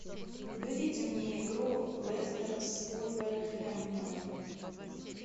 выведи мне игру лестер с вулверхэмптоном